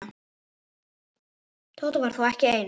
Tóta var þó ekki ein.